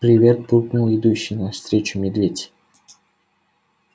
привет буркнул идущий навстречу медведь